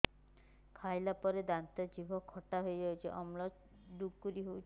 ଖାଇଲା ପରେ ଦାନ୍ତ ଜିଭ ଖଟା ହେଇଯାଉଛି ଅମ୍ଳ ଡ଼ୁକରି ହଉଛି